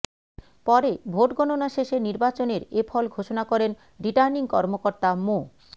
পরে ভোটগণণা শেষে নির্বাচনের এ ফল ঘোষণা করেন রিটার্নিং কর্মকর্তা মো